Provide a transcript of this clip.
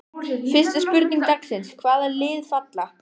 Fyrsta spurning dagsins: Hvaða lið falla?